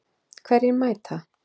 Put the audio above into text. Hverjir mæta?